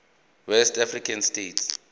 west african states